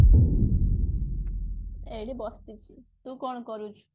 ଏଇଠି ବସିଛି ତୁ କଣ କରୁଛୁ